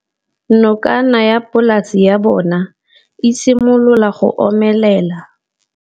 Nokana ya polase ya bona, e simolola go omelela.